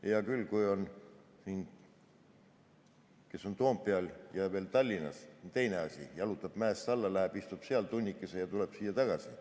Hea küll, kes on Toompeal ja veel Tallinnas, sellel on teine asi, jalutab mäest alla, istub seal tunnikese ja tuleb siia tagasi.